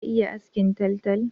Ka iya askin taltal?